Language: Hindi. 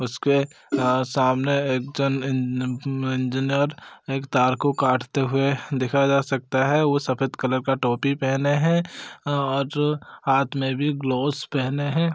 उसके अ सामने एक जन इन न न इंजीनियर एक तार को काटते हुए देखा जा सकता हैं वो सफेद कलर का टोपी पहने हैं और हाथ में भी ग्लोवस पहने हैं।